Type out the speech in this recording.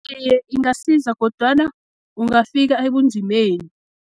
Iye, ingasiza kodwana ungafika ebunzimeni.